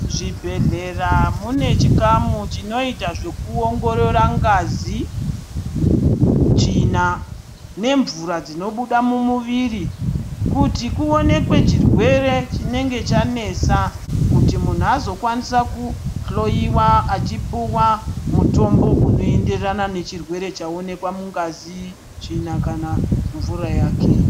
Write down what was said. Zvibhedhlera mune chikamu chinoita zvekuongorora ngazi tsvina nemvura dzinobuda mumuwiri kuti kuoneke chirwere chinenge chanesa kuti munhu azokwanisa kujloiwa achipuwa mutombo unoenderana nechirwere chaonekwa mungazi tsvina kana mvura yake .